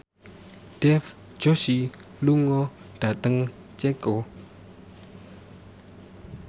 Dev Joshi lunga dhateng Ceko